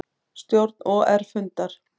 Stjórn OR fundar